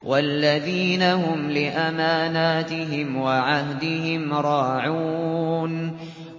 وَالَّذِينَ هُمْ لِأَمَانَاتِهِمْ وَعَهْدِهِمْ رَاعُونَ